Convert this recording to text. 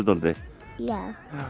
dálítið já